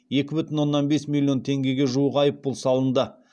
екі жарым миллион теңгеге жуық айыппұл салынды